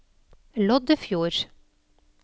Loddefjord